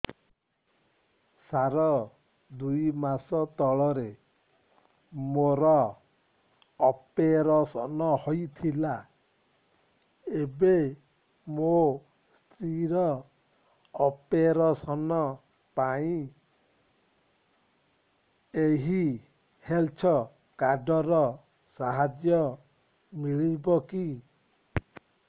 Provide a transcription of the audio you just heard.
ସାର ଦୁଇ ମାସ ତଳରେ ମୋର ଅପେରସନ ହୈ ଥିଲା ଏବେ ମୋ ସ୍ତ୍ରୀ ର ଅପେରସନ ପାଇଁ ଏହି ହେଲ୍ଥ କାର୍ଡ ର ସାହାଯ୍ୟ ମିଳିବ କି